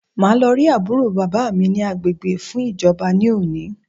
Màá lọ rí àbúrò bàbá mi ni agbègbè fún ìjọba ní òní